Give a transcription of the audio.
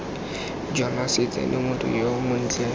jonase tsena motho yo montle